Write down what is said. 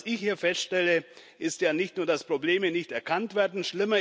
Was ich hier feststelle, ist ja nicht nur, dass Probleme nicht erkannt werden.